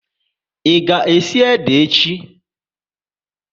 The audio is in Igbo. Ị ga esi ede echi?